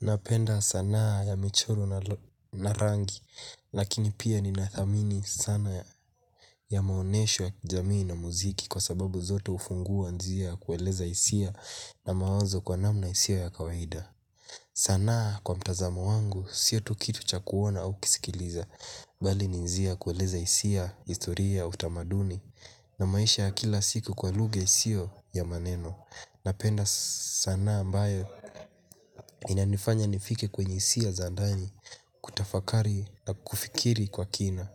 Napenda sanaa ya michoro na rangi lakini pia ninathamini sana ya maonyesho ya kijamii na muziki kwa sababu zote hufungua njia ya kueleza hisia na mawazo kwa namna isiyo ya kawaida sanaa kwa mtazamo wangu sio tu kitu cha kuona au kusikiliza bali ni njia ya kueleza historia ya utamaduni na maisha ya kila siku kwa lugha isiyo ya maneno. Napenda sanaa ambayo inanifanya nifike kwenye hisia za ndani, kutafakari na kufikiri kwa kina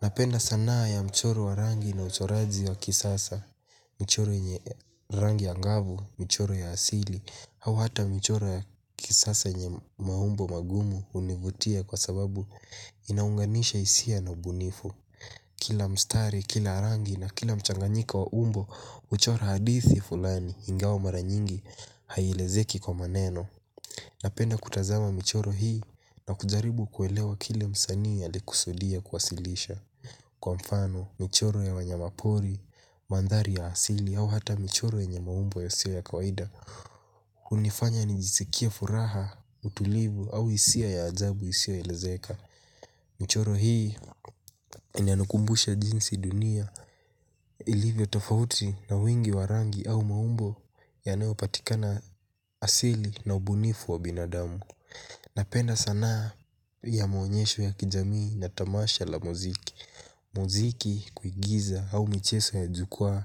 napenda sanaa ya mchoro wa rangi na uchoraji wa kisasa michoro yenye rangi angavu michoro ya asili au hata michoro ya kisasa yenye mambo magumu hunivutia kwa sababuinaunganisha hisia na ubunifu. Kila mstari, kila rangi na kila mchanganyiko wa umbo huchora hadithi fulani ingawa mara nyingi hailezeki kwa maneno napenda kutazama michoro hii najaribu kuelewa kile msanii alikusudia kuwasilisha kwa mfano michoro ya wanyama pori mandhari ya asili au hata michoro yenye maumbo yasiyo ya kawaida hunifanya nijisikie furaha, utulivu au hisia ya ajabu isioelezeka. Michoro hii inanukumbusha jinsi dunia ilivyo tofauti na wingi wa rangi au maumbo yanayopatika na asili na ubunifu wa binadamu. Napenda sanaa ya maonyesho ya kijamii na tamasha la muziki muziki, kuigiza au michezo ya jukwaa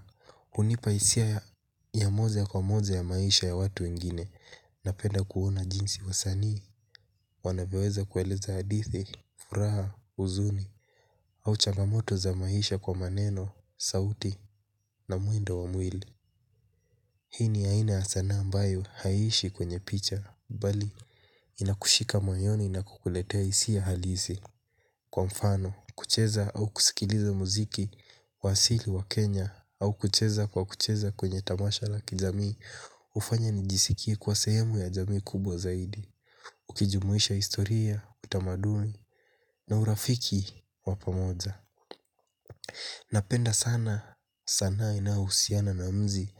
hunipa hisia ya moja kwa moja ya maisha ya watu wengine. Napenda kuona jinsi wasanii, wanavyoweza kueleza hadithi, furaha, huzuni au changamoto za maisha kwa maneno, sauti na mwendo wa mwili. Hii ni aina ya sanaa ambayo haishi kwenye picha. Bali, inakushika moyoni na kukuletea hisia halisi. Kwa mfano, kucheza au kusikiliza muziki wa asili wa Kenya Au kucheza kwa kucheza kwenye tamasha la kijamii hufanya nijisikie kuwa sehemu ya jamii kubwa zaidi. Ukijumuisha historia, utamadumi na urafiki wa pamoja napenda sana, sanaa inayohusiana na mzi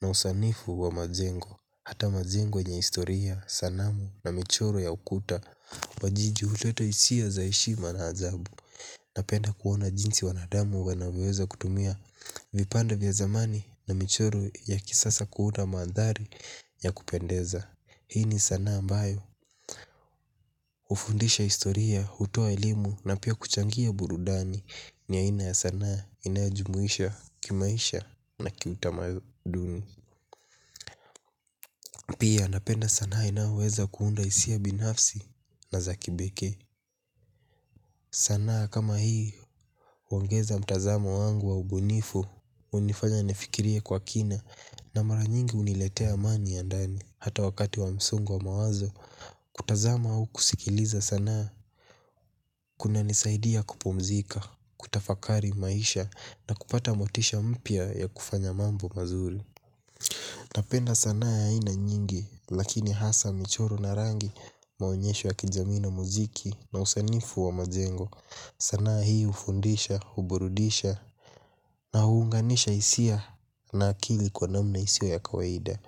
na usanifu wa majengo. Hata majengo yenye historia, sanamu na michoro ya ukuta wajiji huleta hisia za heshima na ajabu. Napenda kuona jinsi wanadamu wanavyoweza kutumia vipande vya zamani na michoro ya kisasa kuunda maandhari ya kupendeza. Hii ni sanaa ambayo hufundisha historia, hutoa elimu na pia kuchangia burudani ni aina ya sanaa inajumuisha kimaisha na kiutamaduni. Pia napenda sanaa inayoweza kuunda hisia binafsi na za kipekee. Sanaa kama hii huongeza mtazamo wangu wa ubunifu hunifanya nifikirie kwa kina na mara nyingi huniletea amani ya ndani. Hata wakati wa msongo wa mawazo kutazama au kusikiliza sanaa kunanisaidia kupumzika, kutafakari maisha na kupata motisha mpya ya kufanya mambo mazuri. Napenda sanaa ya aina nyingi lakini hasa michoro na rangi maonyesho ya kijamii na muziki na usanifu wa majengo sanaa hii hufundisha huburudisha na huunganisha hisia na akili kwa namna isiyo ya kawaida.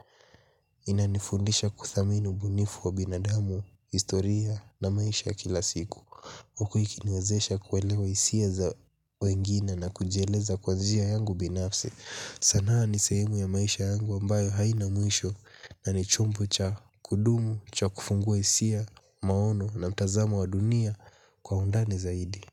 Inanifundisha kuthamini ubunifu wa binadamu, historia na maisha ya kila siku huku ikiniwezesha kuelewa hisia za wengine na kujieleza kwa njia yangu binafsi. Sanaa ni sehemu ya maisha yangu ambayo haina mwisho na ni chombo cha kudumu, cha kufungua hisia, maono na mtazamo wa dunia kwa undani zaidi.